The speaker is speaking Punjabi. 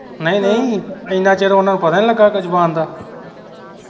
ਨਹੀਂ ਨਹੀਂ ਇਹਨਾਂ ਚਿਰ ਉਹਨਾਂ ਨੂੰ ਪਤਾ ਈ ਨੀ ਲੱਗਾ ਅਗੋਂ ਜੁਬਾਨ ਦਾ